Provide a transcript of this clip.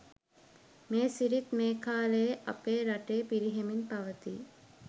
මේ සිරිත් මේ කාලයේ අපේ රටේ පිරිහෙමින් පවතී.